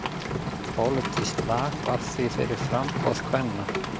Pólitískt lag var því fyrir framboð kvenna.